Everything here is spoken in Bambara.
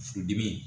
Furudimi